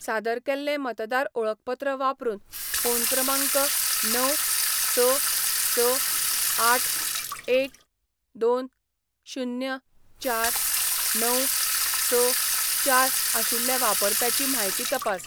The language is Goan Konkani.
सादर केल्लें मतदार ओळखपत्र वापरून फोन क्रमांक णव, स, स, आठ, एक, दोन, शुन्य, चार, णव, स, चार आशिल्ल्या वापरप्याची म्हायती तपास.